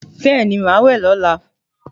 Bẹ́ẹ̀ni, màá wẹ̀ lọ́la